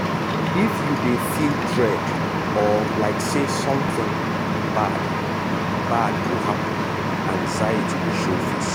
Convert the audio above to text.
if you dey feel dread or like say something bad bad go happen anxiety dey show face.